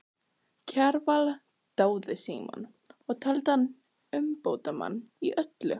Kjarval dáði Símon og taldi hann umbótamann í öllu.